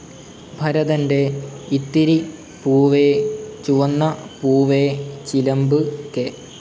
ഭരതൻ്റെ ഇത്തിരി പൂവേ ചുവന്ന പൂവേ, ചിലംബ്, കെ.